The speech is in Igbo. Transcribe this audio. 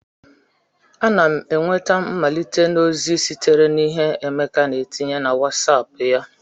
Ana m enweta mmelite na ozi sitere na ihe Emeka na etinye na Wosop ya